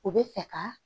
O bɛ fɛ ka